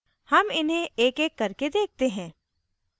हम इन्हें एकएक करके देखते हैं